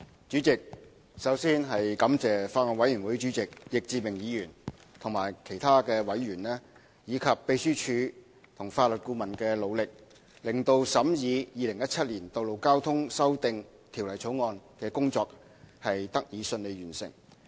主席，首先，我要感謝法案委員會主席易志明議員及其他委員，以及秘書處和法律顧問的努力，令審議《2017年道路交通條例草案》的工作得以順利完成。